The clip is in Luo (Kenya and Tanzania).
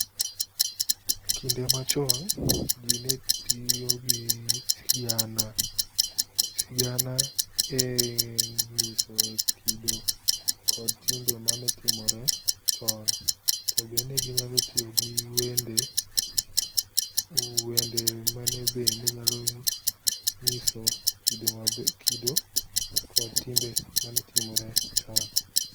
Ekinde machon jii ne tiyo gi sigana, sigana e nyiso kido kod timbe mane timore chon tobe ne ginyalo tiyo gi wende, wende mane be nenyalo nyiso kido kod timbe mane timore chon